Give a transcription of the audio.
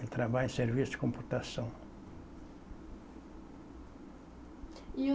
Ele trabalha em serviço de computação. E